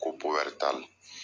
Ko